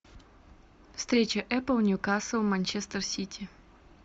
встреча апл ньюкасл манчестер сити